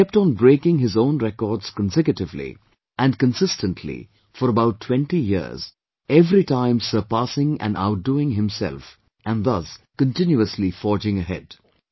He kept on breaking his own records consecutively and consistently for about twenty years, everytime surpassing and outdoing himself and thus continuously forging ahead